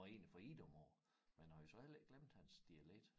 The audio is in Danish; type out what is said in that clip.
Var egentlig fra Idom af men har jo så heller ikke glemt hans dialekt